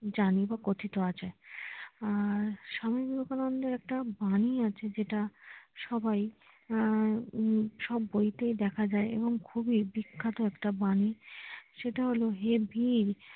জানি বা কথিত আছে স্বামী বিবেকানন্দ এর একটা বাণী আছে যেটা সবাই আহ সব বইতেই দেখা যায় এবং খুবই বিখ্যাত একটা বাণী সেটা হলো হে বীর